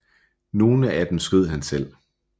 Nogle af dem skød han selv